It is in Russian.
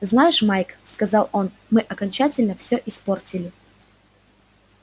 знаешь майк сказал он мы окончательно всё испортили